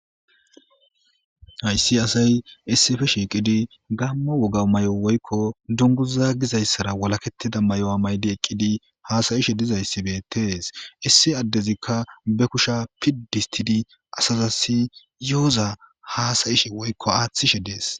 Ha issi asay, issippe ishakkidi, Gaamo woga mayo woyko dunguza gidda issara walakettida mayo mayiddi ekkidi, haasayishe dizza izzi beettes. Issi addezikka ba kusha piddi ottidi asazasikka yohoza haasayishe woyko aatishe dees.